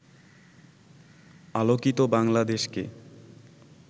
আলোকিত বাংলাদেশকে